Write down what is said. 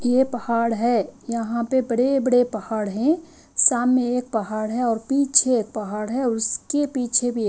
ये पहाड़ है यहां पे बड़े बड़े पहाड़ हैं सामने एक पहाड़ है और पीछे एक पहाड़ है उसके पीछे भी एक--